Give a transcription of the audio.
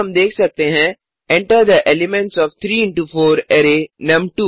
अब हम देख सकते हैं enter the elements of 3 into 4 array नुम2